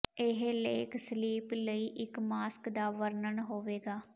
ਇਹ ਲੇਖ ਸਲੀਪ ਲਈ ਇੱਕ ਮਾਸਕ ਦਾ ਵਰਣਨ ਹੋਵੇਗਾ